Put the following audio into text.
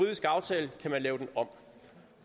kan man lave den om